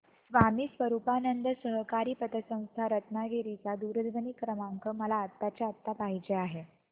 स्वामी स्वरूपानंद सहकारी पतसंस्था रत्नागिरी चा दूरध्वनी क्रमांक मला आत्ताच्या आता पाहिजे आहे